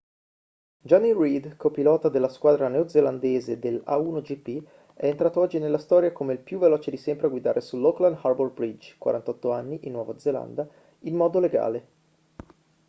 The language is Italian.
jonny reid co-pilota della squadra neozelandese dell'a1gp è entrato oggi nella storia come il più veloce di sempre a guidare sull'auckland harbour bridge 48 anni in nuova zelanda in modo legale